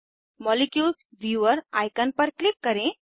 molecules viewer icon पर click करें